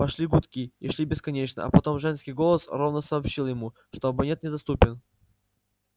пошли гудки и шли бесконечно а потом женский голос ровно сообщил ему что абонент недоступен